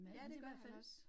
Ja, det gør han også